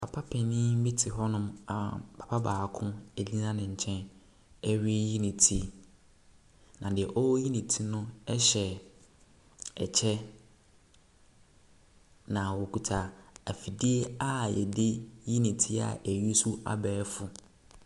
Papa panin bi te hɔnom a papa baako egyina ne nkyɛn reyi ne ti. Na nea ɔreyi ne ti no hyɛ kyɛ. Na okita afidie a yɛde ne ti eusesu abɛɛfo.